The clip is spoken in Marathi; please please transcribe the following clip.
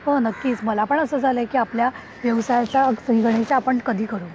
हो नक्कीच मला पण असं झालंय की आपल्या व्यवसायाचा श्रीगणेशा आपण कधी करू.